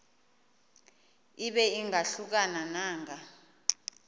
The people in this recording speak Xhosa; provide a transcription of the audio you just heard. ibe ingahluka nanga